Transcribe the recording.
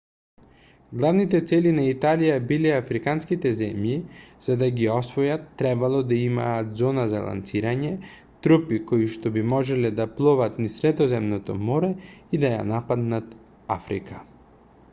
главните цели на италија биле африканските земји за да ги освојат требало да имаат зона за лансирање трупи коишто би можеле да пловат низ средоземното море и да ја нападнат африка